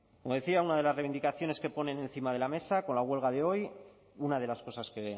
como decía una de las reivindicaciones que ponen encima de la mesa con la huelga de hoy una de las cosas que